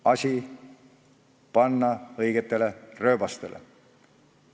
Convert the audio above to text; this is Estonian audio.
Asi tuleb õigetele rööbastele panna.